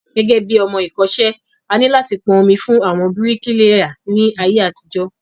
Gẹ́gẹ́bí ọmọ ẹ̀kọ́ṣẹ́, A ní láti pọn omi fún àwọn bíríkìlà ní ayé àtijó